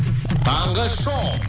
таңғы шоу